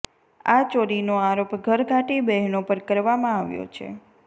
આ ચોરીનો આરોપ ઘરઘાટી બહેનો પર કરવામાં આવ્યો છે